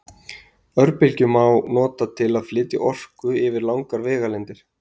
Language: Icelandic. örbylgjur má nota til að flytja orku yfir langar vegalengdir